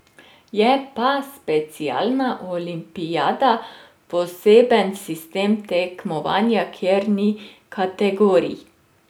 Je pa specialna olimpijada poseben sistem tekmovanja, kjer ni kategorij.